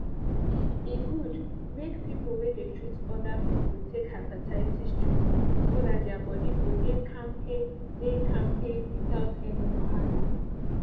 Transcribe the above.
e good make people wey dey treat other people take hepatitis treatment so that their body go dey kampe dey kampe without any wahala